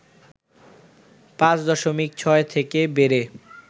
৫ দশমিক ৬ থেকে বেড়ে